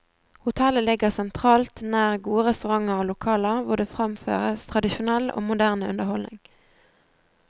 Hotellet ligger sentralt nær gode restauranter og lokaler hvor det framføres tradisjonell og moderne underholdning.